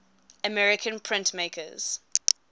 american printmakers